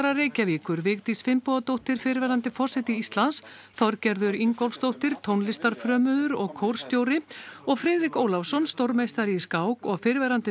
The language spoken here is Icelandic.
Reykjavíkur Vigdís Finnbogadóttir fyrrverandi forseti Íslands Þorgerður Ingólfsdóttir tónlistarfrömuður og kórstjóri og Friðrik Ólafsson stórmeistari í skák og fyrrverandi